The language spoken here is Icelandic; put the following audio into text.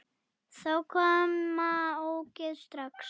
Þá koma ógeðin strax.